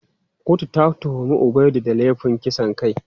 Kotun ta tuhumi Ubaidu da laifin kisan kai.